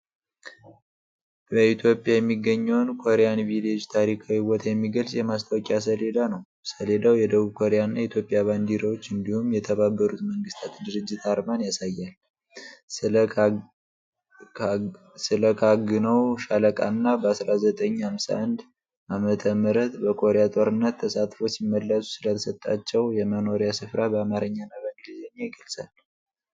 በኢትዮጵያ የሚገኘውን "ኮሪያን ቪሌጅ" ታሪካዊ ቦታ የሚገልጽ የማስታወቂያ ሰሌዳ ነው። ሰሌዳው የደቡብ ኮሪያ እና የኢትዮጵያ ባንዲራዎች እንዲሁም የተባበሩት መንግስታት ድርጅት አርማን ያሳያል። ስለ ካግነው ሻለቃ እና በ1951 ዓ.ም.በኮሪያ ጦርነት ተሳትፈው ሲመለሱ ስለተሰጣቸው የመኖሪያ ስፍራ በአማርኛና በእንግሊዝኛ ይገልጻል።